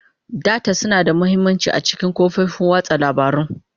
Data suna da mahimmanci a cikin kafofin watsa labarun.